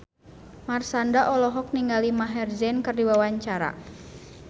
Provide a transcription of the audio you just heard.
Marshanda olohok ningali Maher Zein keur diwawancara